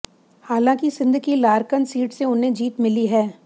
हालांकि सिंध की लारकन सीट से उन्हें जीत मिली है